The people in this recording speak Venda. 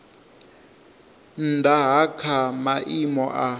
nnda ha kha maimo a